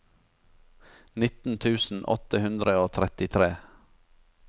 nitten tusen åtte hundre og trettitre